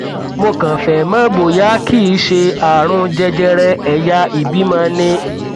mo kàn fẹ mọ bóyá kìí ṣe ààrùn jẹjẹrẹ ẹyà ìbímọ ni